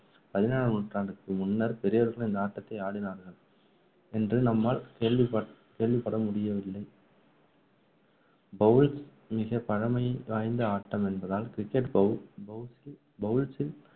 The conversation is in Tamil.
பதினேழாம் நூற்றாண்டுக்கு முன்னர் பெரியோர்கள் இந்த ஆட்டத்தை ஆடினார்கள் என்று நம்மால் கேள்விப்~ கேள்விப்படமுடியவில்லை bowls மிக பழமைவாய்ந்த ஆட்டம் என்பதால் cricket bow~ bowls bowls